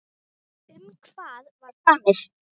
Um hvað var samið?